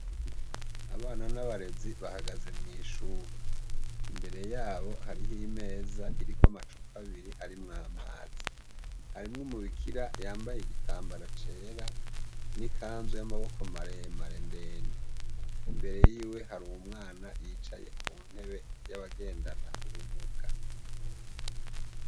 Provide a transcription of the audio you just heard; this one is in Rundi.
Abana n'abarezi, bahagaze mw'ishure; imbere yabo hariho imeza iriko amacupa abiri arimwo amazi; harimwo umubikira yambaye igitambara cera n'ikanzu y'amaboko maremare ndende; imbere yiwe hari umwana ku ntebe y'abagendana ubumuga.